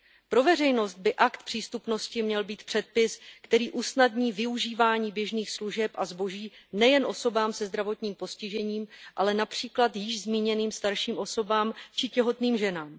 Pro veřejnost by akt přístupnosti měl být předpis, který usnadní využívání běžných služeb a zboží nejen osobám se zdravotním postižením, ale například již zmíněným starším osobám či těhotným ženám.